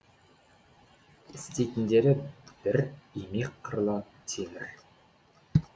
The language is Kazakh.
істейтіндері бір имек қырлы темір